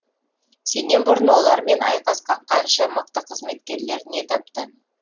сенен бұрын олармен айқасқан қанша мықты қызметкерлер не тапты